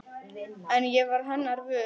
En ég varð hennar vör.